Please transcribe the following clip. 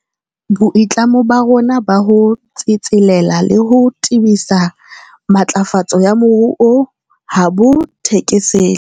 Boitlamo ba rona ba ho tsetselela le ho tebisa matlafatso ya moruo ha bo thekesele.